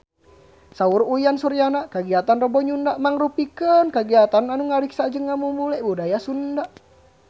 Saur Uyan Suryana kagiatan Rebo Nyunda mangrupikeun kagiatan anu ngariksa jeung ngamumule budaya Sunda